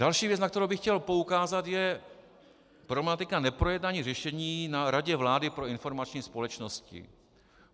Další věc, na kterou bych chtěl poukázat, je problematika neprojednání řešení na Radě vlády pro informační společnost.